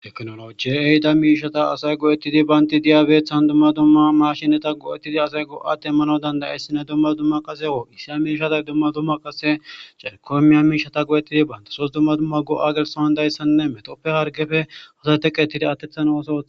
Teknoloji ehida miishata asay go'ettidi baynti diyabeeththan dumma dumma mashinata go'ettidi asay go'atemmano dandayessine dumma dumma qase woo issi a miishata dumma dumma qase cerikoymi ya miishata go'ettidi bayntesoos dumma dumma go'a gelsawandayssanne metoppe hargefe hotateqetide attethano oso.